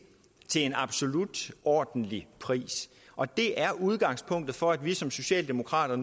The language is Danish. til en absolut ordentlig pris og det er udgangspunktet for at vi som socialdemokrater